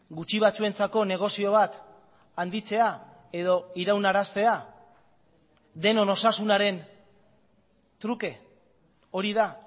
gutxi batzuentzako negozio bat handitzea edo iraunaraztea denon osasunaren truke hori da